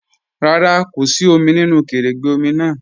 Rárá, kò sí òmì nínu kẹrẹ́gbẹ̀ òmì náà.